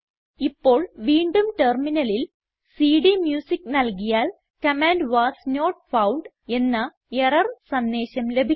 ഇപ്പോൾ വീണ്ടും ടെർമിനലിൽ സിഡിഎംയൂസിക്ക് നൽകിയാൽ കമാൻഡ് വാസ് നോട്ട് ഫൌണ്ട് എന്ന എറർ സന്ദേശം ലഭിക്കും